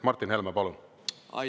Martin Helme, palun!